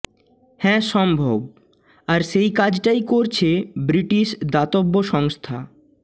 হ্যা সম্ভব আর সেই কাজটাই করছে ব্রিটিশ দাতব্য সংস্থা